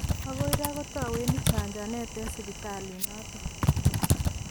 Okoi ra kotowendi chajanet eng sipitalit noton.